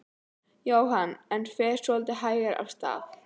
Jóhann: En fer svolítið hægar af stað?